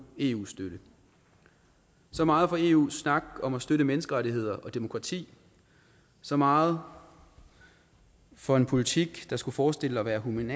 eu støtte så meget for eus snak om at støtte menneskerettigheder og demokrati så meget for en politik der skulle forestille at være human